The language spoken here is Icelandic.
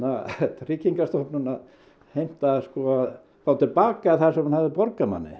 Tryggingastofnun að heimta að fá til baka það sem hún hafði borgað manni